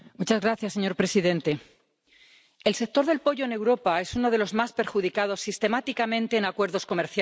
Señor presidente, el sector del pollo en Europa es uno de los más perjudicados sistemáticamente en acuerdos comerciales.